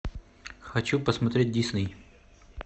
хочу посмотреть дисней